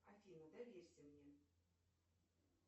афина доверься мне